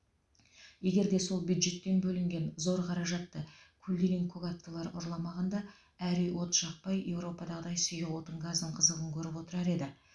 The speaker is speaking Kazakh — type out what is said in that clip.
егер де сол бюджеттен бөлінген зор қаражатты көлдеңен көк аттылар ұрламағанда әр үй от жақпай европадағыдай сұйық отын газдың қызығын көріп отырар еді